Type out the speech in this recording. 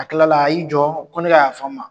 A kilala a y'i jɔ, ko ne ka yafa a ma.